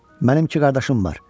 Mənim iki qardaşım var.